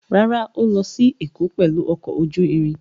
Rárá, Ó lọ sí Èkó pẹ̀lú ọkọ̀ ojú irin.